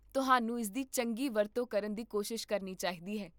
ਤੁਹਾਨੂੰ ਇਸ ਦੀ ਚੰਗੀ ਵਰਤੋਂ ਕਰਨ ਦੀ ਕੋਸ਼ਿਸ਼ ਕਰਨੀ ਚਾਹੀਦੀ ਹੈ